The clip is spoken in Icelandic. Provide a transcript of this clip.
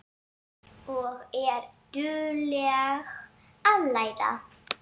Og er dugleg að læra.